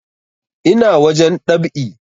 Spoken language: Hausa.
Ina wajen dab'i